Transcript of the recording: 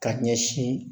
Ka ɲɛsin